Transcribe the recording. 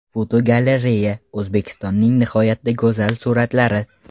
Fotogalereya: O‘zbekistonning nihoyatda go‘zal suratlari.